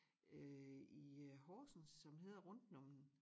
Øh i øh Horsens som hedder Rundtenommen